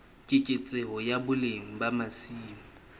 keketseho ya boleng ba masimo